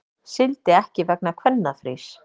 Sigldi ekki vegna kvennafrís